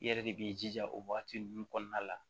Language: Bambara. I yɛrɛ de b'i jija o wagati ninnu kɔnɔna la